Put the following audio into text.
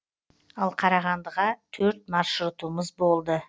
ал қарағандыға төрт маршрутымыз болды